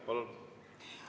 Palun!